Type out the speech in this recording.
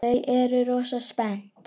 Þau eru rosa spennt.